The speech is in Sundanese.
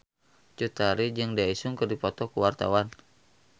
Cut Tari jeung Daesung keur dipoto ku wartawan